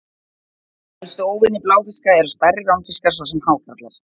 Helstu óvinir bláfiska eru stærri ránfiskar, svo sem hákarlar.